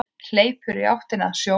Hleypur í áttina að sjónum.